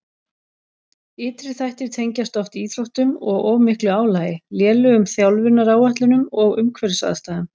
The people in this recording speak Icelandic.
Ytri þættir tengjast oft íþróttum og of miklu álagi, lélegum þjálfunaráætlunum og umhverfisaðstæðum.